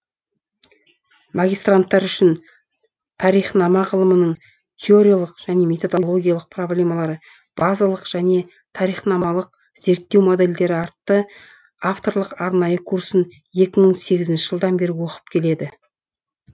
магистранттар үшін тарихнама ғылымының теориялық және методологиялық проблемалары базалық және тарихнамалық зерттеу модельдері атты авторлық арнайы курсын екі мың сегізінші жылдан бері оқып келеді